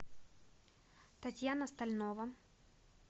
татьяна стальнова